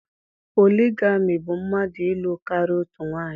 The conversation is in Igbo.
Poligami bụ mmadụ ịlụ karịa otu onye